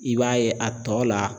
I b'a ye a tɔ la